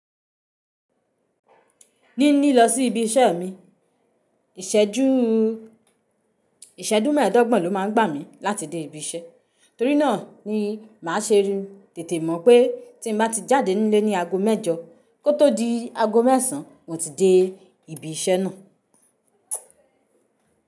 Ní ní lọ sí ibi iṣẹ́ mi, ìṣẹ́júù ìṣẹ́jú mẹ́ẹ̀dọ́gbọ̀n ló máa ń gbà mí láti dé ibi iṣẹ́. Torí náà ni màá ṣe rí tètè mọ̀ pé tí mo bá ti jáde nílé ní ago mẹ́jọ kó tó di ago mẹ́sàn án mo ti dé ibi iṣẹ́ náà.